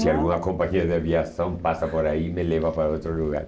Se alguma companhia de aviação passa por aí e me leva para outro lugar.